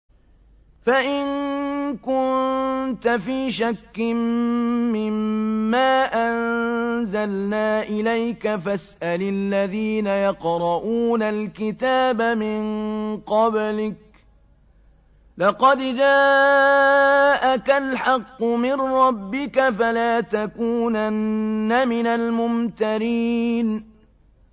فَإِن كُنتَ فِي شَكٍّ مِّمَّا أَنزَلْنَا إِلَيْكَ فَاسْأَلِ الَّذِينَ يَقْرَءُونَ الْكِتَابَ مِن قَبْلِكَ ۚ لَقَدْ جَاءَكَ الْحَقُّ مِن رَّبِّكَ فَلَا تَكُونَنَّ مِنَ الْمُمْتَرِينَ